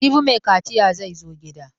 Jibi mai kaciya zai zo gida.